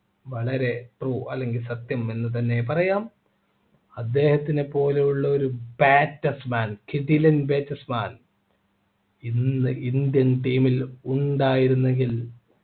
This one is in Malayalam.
വളരെ true അല്ലെങ്കിൽ സത്യം എന്ന് തന്നെ പറയാം അദ്ദേഹത്തിനെ പോലെയുള്ളൊരു batsman കിടിലം batsman ഇന്ന് indian team ൽ ഉണ്ടായിരുന്നെങ്കിൽ